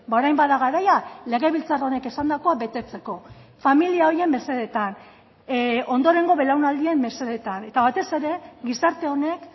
orain bada garaia legebiltzar honek esandakoa betetzeko familia horien mesedetan ondorengo belaunaldien mesedetan eta batez ere gizarte honek